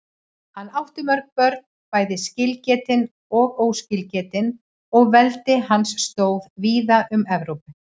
Hann átti mörg börn, bæði skilgetin og óskilgetin, og veldi hans stóð víða um Evrópu.